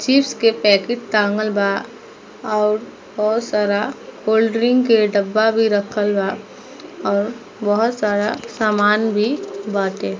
Chips के packet टाँगल बा और बहुत सारा कोल्ड ड्रिंक के ढाबा भी राखल बा और बहुत सारा सामना भी बाटे।